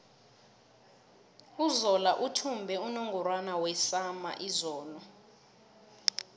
uzola uthumbe unungorwana wesama izolo